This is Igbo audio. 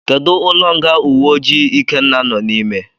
Kedu ụlọ nga uwe ojii ikenna no n'ime.